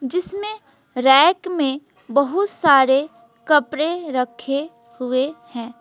जिसमें रैक में बहुत सारे कपड़े रखे हुए हैं।